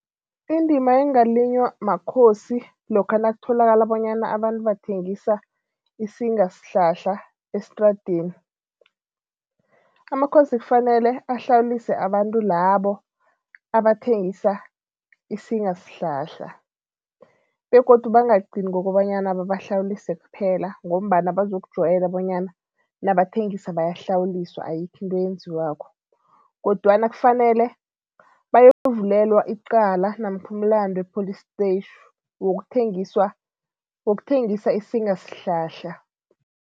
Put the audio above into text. Indima engalinywa makhosi lokha nakutholakala bonyana abantu bathengisa isingasihlahla estradeni, amakhosi kufanele ahlawulise abantu labo abathengisa isingasihlahla begodu bangagcini ngokobanyana babahlawulise kuphela ngombana bazokujwayela bonyana nabathengisako bayahlawuliswa, ayikho into eyenziwako kodwana kufanele bayokuvulelwa icala namkha umlando epholistetjhi wokuthengiswa wokuthengisa isingasihlahla.